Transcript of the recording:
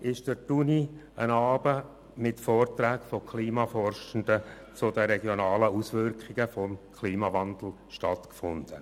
» fand an der Universität ein Abend mit Vorträgen von Klimaforschenden zu den regionalen Auswirkungen des Klimawandels statt.